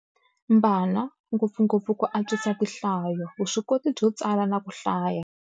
Mbana, ngopfungopfu ku antswisa tinhlayo, vuswikoti byo tsala na ku hlaya.